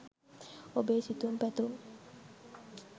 ඔබේ සිතුම් පැතුම්